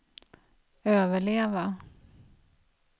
överleva